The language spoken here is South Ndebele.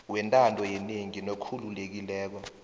wentando yenengi nokhululekileko